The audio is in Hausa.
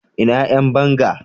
Ina Yan banga?